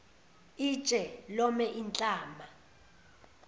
itshe lome inhlama